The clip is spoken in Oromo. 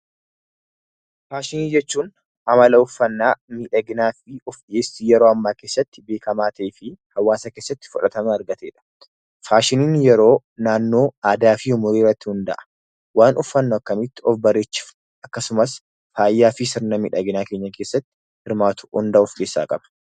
Faashinii jechuun amala uffannaa miidhaginaafi ulfeessi yeroo ammaa keessatti beekamaa taheefi hawaasa keessatti fudhatama argateedha. Faashiniin yeroo, naannoo, aadaa fi umurii irratti hunda'a. Waan uffannu akkamitti of bareechifnu akkasumas faayaa fi sirna miidhaginaa keenya keessatti hirmaatu hunda of keessaa qaba.